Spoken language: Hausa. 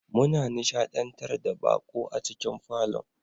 Muna nishadantar da baƙo a cikin falon